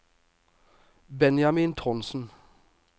Benjamin Trondsen